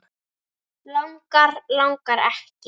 Langar, langar ekki.